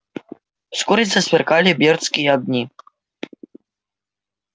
вскоре засверкали бердские огни